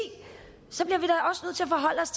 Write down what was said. forholde os